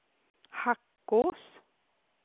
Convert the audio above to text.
Hackås